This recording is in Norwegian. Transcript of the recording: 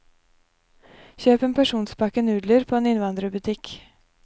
Kjøp en porsjonspakke nudler på en innvandrerbutikk.